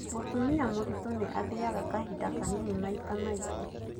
Mũtumia mũriitũ nĩ athiaga kahinda kanini maita maingĩ.